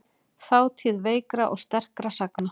Þátíð veikra og sterkra sagna.